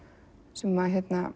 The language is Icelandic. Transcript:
sem